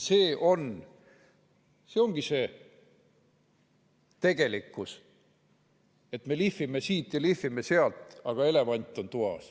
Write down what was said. See ongi see tegelikkus, et me lihvime siit ja lihvime sealt, aga elevant on toas.